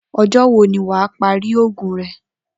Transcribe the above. O̩jó̩ wo ni wà á parí ògùn re̩?